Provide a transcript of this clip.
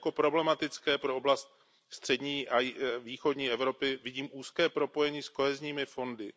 Jako problematické pro oblast střední a východní Evropy vidím úzké propojení s kohezními fondy.